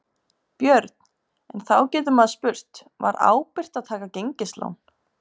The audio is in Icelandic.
Björn: En þá getur maður spurt, var ábyrgt að taka gengislán?